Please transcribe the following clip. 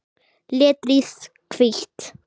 Letrið hvítt.